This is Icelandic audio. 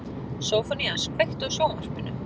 Sófónías, kveiktu á sjónvarpinu.